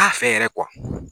T'a fɛ yɛrɛ